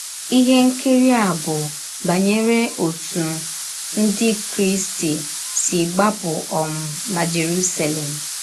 Ihe nkiri a bụ banyere ọtụ Ndị Krịsti si gbapụ um na Jerụselem.